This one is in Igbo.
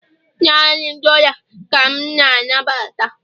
Naanị dollar ka m na-anabata